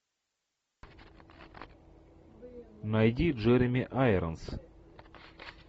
найди джереми айронс